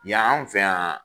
Yan anw fɛ yan